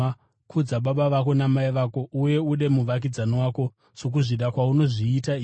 Kudza baba vako namai vako uye ude muvakidzani wako sokuzvida kwaunozviita iwe.’ ”